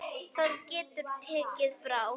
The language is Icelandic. Það getur tekið frá